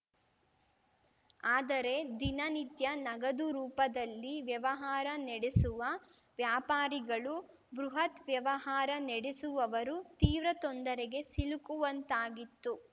ಆದರೆ ದಿನ ನಿತ್ಯ ನಗದು ರೂಪದಲ್ಲಿ ವ್ಯವಹಾರ ನಡೆಸುವ ವ್ಯಾಪಾರಿಗಳು ಬೃಹತ್‌ ವ್ಯವಹಾರ ನೆಡೆಸುವವರು ತೀವ್ರ ತೊಂದರೆಗೆ ಸಿಲುಕುವಂತಾಗಿತ್ತು